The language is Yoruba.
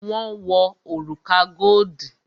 Wọn wo òrùka godi